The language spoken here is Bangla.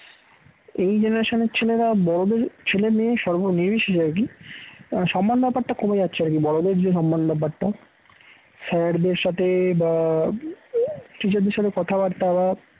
এই generation এর ছেলেরা বড়দের ছেলেমেয়ে সর্বনির্বিশেষে আর কি তারা সম্মান ব্যাপারটা কমে যাচ্ছে আর কি বড়দের যে সম্মান ব্যাপারটা sir দের সাথে বা teacher দের সাথে কথাবার্তা বা